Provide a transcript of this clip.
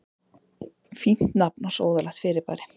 Fínt nafn á sóðalegt fyrirbæri.